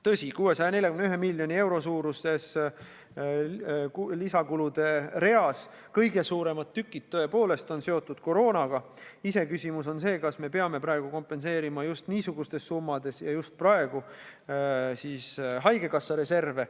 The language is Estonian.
Tõsi, 641 miljoni euro suuruses lisakulude reas kõige suuremad tükid tõepoolest on seotud koroonaga, iseküsimus on see, kas me peame praegu kompenseerima just niisugustes summades ja just praegu haigekassa reserve.